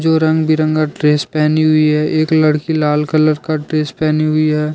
जो रंग बिरंगा ड्रेस पहनी हुई है एक लड़की लाल कलर का ड्रेस पहनी हुई है।